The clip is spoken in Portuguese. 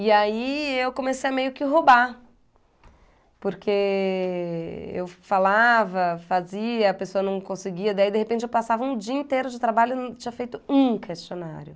E aí eu comecei a meio que roubar, porque eu falava, fazia, a pessoa não conseguia, daí de repente eu passava um dia inteiro de trabalho e não tinha feito um questionário.